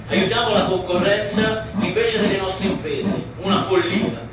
Aiutiamo la concorrenza, invece delle nostre imprese una follia!